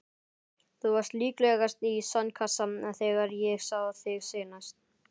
Þú varst líklegast í sandkassa þegar ég sá þig seinast.